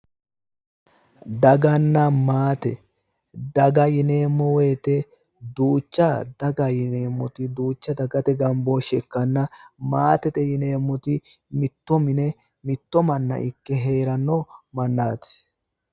daganna maate daga yineemmo woyite duucha dagate gambooshseeti ikkanna maatete yineemmoti mitto mine heeranno mannaati